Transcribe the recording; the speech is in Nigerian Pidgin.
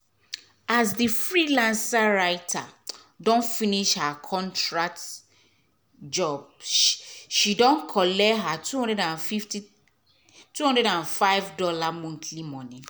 as the freelance writer don finish her contract job she don collect her two hundred and fifty two hundred and five dollars monthly money.